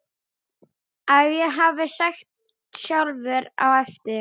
að ég hafi sagt sjálfur á eftir